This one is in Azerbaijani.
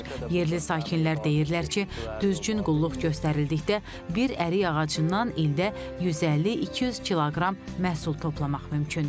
Yerli sakinlər deyirlər ki, düzgün qulluq göstərildikdə bir ərik ağacından ildə 150-200 kq məhsul toplamaq mümkündür.